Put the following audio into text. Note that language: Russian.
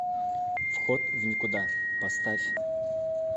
вход в никуда поставь